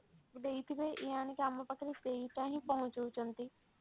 ଦେଇଥିବେ ଇଏ ଆଣିକି ଆମ ପାଖ ରେ ସେଇଟା ହିଁ ପହଞ୍ଚଉଛନ୍ତି